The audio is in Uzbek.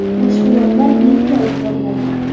Mashg‘ulotlar bepul olib boriladi.